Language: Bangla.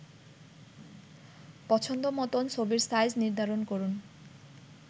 পছন্দ মতন ছবির সাইজ নির্ধারন করুন